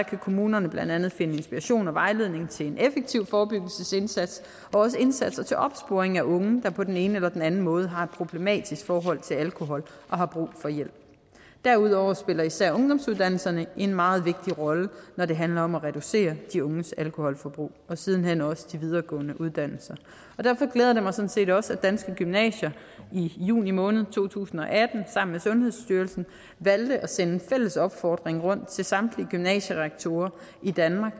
kan kommunerne blandt andet finde inspiration og vejledning til en effektiv forebyggelsesindsats og også indsatser til opsporing af unge der på den ene eller den anden måde har et problematisk forhold til alkohol og har brug for hjælp derudover spiller især ungdomsuddannelserne en meget vigtig rolle når det handler om at reducere de unges alkoholforbrug og siden hen også de videregående uddannelser derfor glæder det mig sådan set også at danske gymnasier i juni måned to tusind og atten sammen med sundhedsstyrelsen valgte at sende en fælles opfordring rundt til samtlige gymnasierektorer i danmark